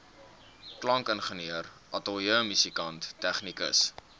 klankingenieur ateljeemusikant tegnikus